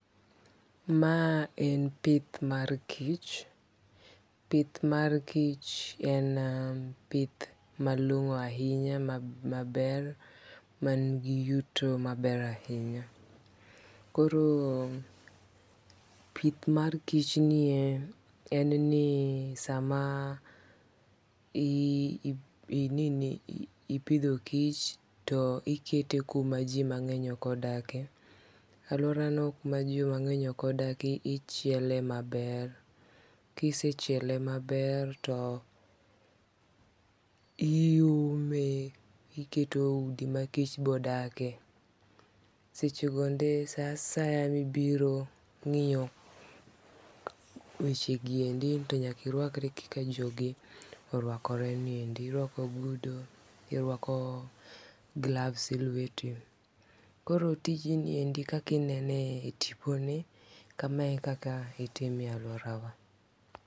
Ma en pith mar kich, pith mar kich en pith malong'o ahinya maber mangi yuto maber ahinya. Koro pith mar kichni e en ni sama ipidho kich to ikete kuma ji mang'eny ok odake, alworano kuma ji mang'eny ok odake, ichiele maber, kisechiele maber to iume iketo udi ma kich bodake, sechegonde sa asaya mibiro ng'iyo wechegi endi to nyaka irwakri kaka jogi orwakreni endi, irwako ogudu, irwako gloves e lweti koro tijni endi kaka inene e tiponi, kama e kaka itime e alworawa.